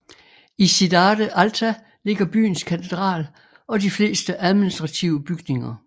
I Cidade Alta ligger byens katedral og de fleste administrative bygninger